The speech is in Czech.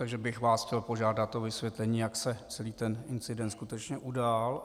Takže bych vás chtěl požádat o vysvětlení, jak se celý ten incident skutečně udál.